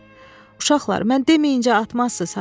"Uşaqlar, mən deməyincə atmazsız ha!"